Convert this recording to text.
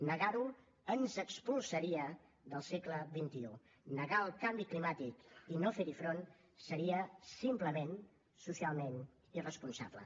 negar ho ens expulsaria del segle xxi negar el canvi climàtic i no fer hi front seria simplement socialment irresponsable